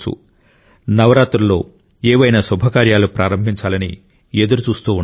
నవరాత్రులలో ఏవైనా శుభకార్యాలు ప్రారంభించాలని ఎదురుచూస్తూ ఉండవచ్చు